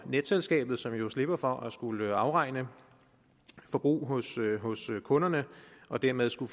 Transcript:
netselskabet som jo slipper for at skulle afregne forbrug hos kunderne og dermed stå